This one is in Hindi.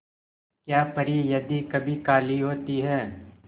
क्या परी यदि कभी काली होती है